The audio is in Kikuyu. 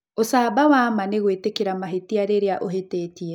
Ũcamba wa ma nĩ gwĩtĩkĩra mahĩtia rĩrĩa ũhĩtĩtie.